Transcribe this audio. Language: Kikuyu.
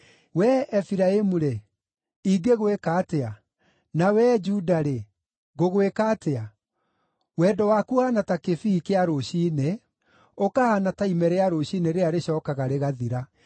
“Wee Efiraimu-rĩ, ingĩgwĩka atĩa? Na wee Juda-rĩ, ngũgwĩka atĩa? Wendo waku ũhaana ta kĩbii kĩa rũciinĩ, ũkahaana ta ime rĩa rũciinĩ rĩrĩa rĩcookaga rĩgathira.